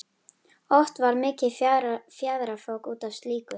Oft varð mikið fjaðrafok út af slíku.